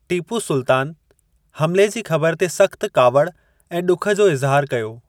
टीपू सुल्तान हमले जी खबर ते सख्त कावड़ ऐं ॾुख जो इज़िहार कयो।